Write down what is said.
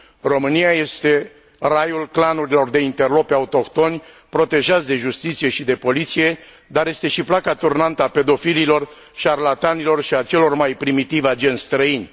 România este raiul clanurilor de interlopi autohtoni protejați de justiție și de poliție, dar este și placa turnantă a pedofililor, șarlatanilor și a celor mai primitivi agenți străini.